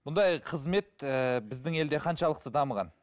бұндай қызмет ыыы біздің елде қаншалықты дамыған